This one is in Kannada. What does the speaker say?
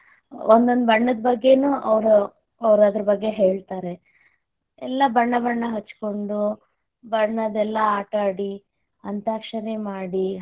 ಒಂದೊಂದ್ ಬಣ್ಣದ ಬಗ್ಗೆನೂ ಅವರ ಅದ್ರ ಬಗ್ಗೆ ಹೇಳ್ತಾರೆ ಎಲ್ಲಾ ಬಣ್ಣ ಹಚ್ಚಕೊಂಡ್ ಬಣ್ಣದಲ್ಲಿ ಆಟ ಆಡಿ, ಅಂತಾಕ್ಷರಿ ಮಾಡಿ.